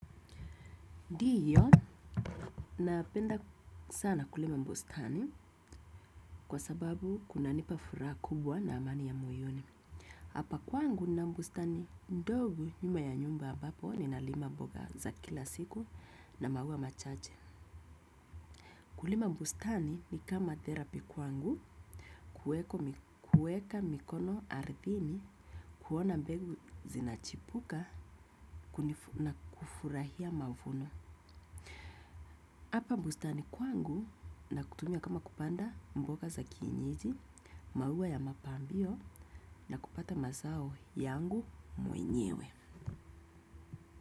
Ndiyo, napenda sana kulima bustani kwa sababu kuna nipa furaha kubwa na amani ya moyoni. Hapa kwangu nina bustani ndogu nyuma ya nyumba ambapo ni na lima mboga za kila siku na maua machache. Kulima bustani ni kama therapy kwangu kueko mikueka mikono ardhini kuona mbegu zinachipuka na kufurahia mavuno. Hapa bustani kwangu na kutumia kama kupanda mboga za kienyeji, maua ya mapambio na kupata mazao yangu mwenyewe.